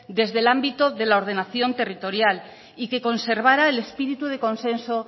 desde el ámbito de la ordenación territorial y que conservara el espíritu de consenso